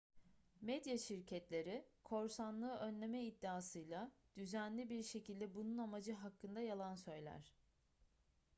medya şirketleri korsanlığı önleme iddiasıyla düzenli bir şekilde bunun amacı hakkında yalan söyler